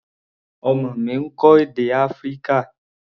Ọmọ mi ń kọ́ èdè Áfíríkà.